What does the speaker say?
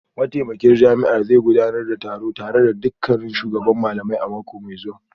Mataimakin shugaban jami'ar zai gudanar da taro tare da dukkan shugaban malamai a mako mai zuwa